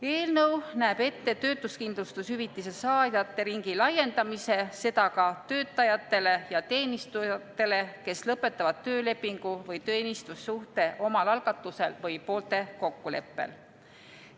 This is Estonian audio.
Eelnõu näeb ette töötuskindlustushüvitise saajate ringi laiendamise, seda ka töötajatele ja teenistujatele, kes lõpetavad töölepingu või teenistussuhte omal algatusel või poolte kokkuleppel.